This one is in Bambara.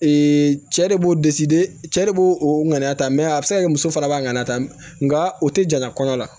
cɛ de b'o cɛ de b'o o ŋaniya ta a bɛ se ka kɛ muso fana b'a ŋaniya ta mɛ nka o tɛ jaɲa kɔɲɔ la